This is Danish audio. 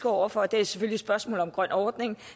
over for det er selvfølgelig spørgsmålet om den grønne ordning